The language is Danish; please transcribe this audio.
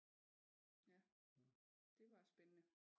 Det var spændende